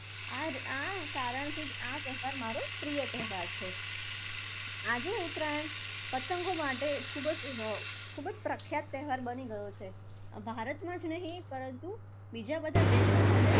આમ આ કારણથી જ આ તહેવાર મારો પ્રિય તહેવાર છે. આજે ઉત્તરાયણ પતંગો માટે ખુબ જ અર ખૂબ જ પ્રખ્યાત તહેવાર બની ગયો છે. ભારતમાં જ નહિ પરંતુ બીજા બધા દેશોમાં પણ